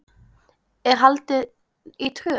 er haldin í Tröð.